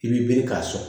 I b'i bere k'a sɔn